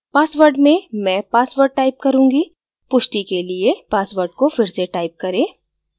password में re password type करूँगी पुष्टि के लिए password को फिर से type करें